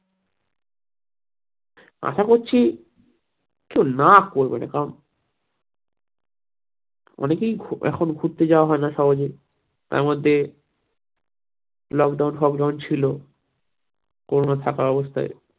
আশা করছি কেউ না করবে না কারণ অনেকেই এখন ঘুরতে যাওয়া হয় না সহজেই তার মধ্যে lockdown ফকডাউন ছিল corona থাকা অবস্থায়